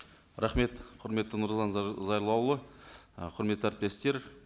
рахмет құрметті нұрлан зайроллаұлы і құрметті әріптестер